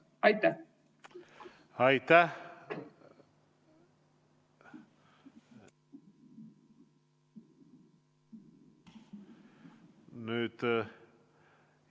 Aitäh!